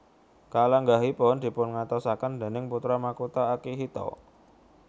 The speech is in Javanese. Kalenggahanipun dipungantosaken déning Putra Makutha Akihito